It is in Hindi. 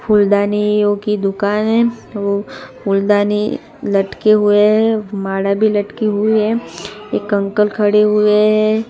फूलदानियों की दुकान हैं फूलदानी लटके हुए हैं माला भी लटकी हुई हैं एक अंकल खड़े हुए हैं।